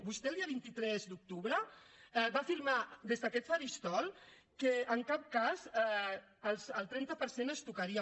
vostè el dia vint tres d’octubre va afirmar des d’aquest faristol que en cap cas el trenta per cent es tocaria